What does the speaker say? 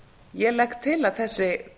ég legg til að þessi